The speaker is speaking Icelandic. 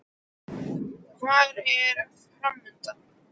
Hvað er framundan?